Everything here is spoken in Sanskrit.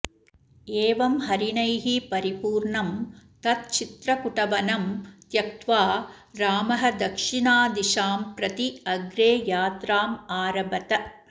एवं हरिणैः परिपूर्णं तत् चित्रकुटवनं त्यक्त्वा रामः दक्षिणदिशां प्रति अग्रे यात्राम् आरभत